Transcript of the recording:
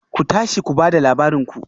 Ku tashi ku ba da labarin ku